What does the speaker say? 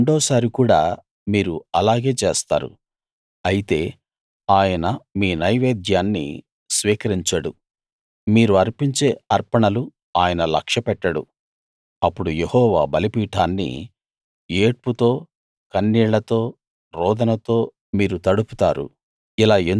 మళ్ళీ రెండోసారి కూడా మీరు అలాగే చేస్తారు అయితే ఆయన మీ నైవేద్యాన్ని స్వీకరించడు మీరు అర్పించే అర్పణలు ఆయన లక్ష్యపెట్టడు అప్పుడు యెహోవా బలిపీఠాన్ని ఏడ్పుతో కన్నీళ్లతో రోదనతో మీరు తడుపుతారు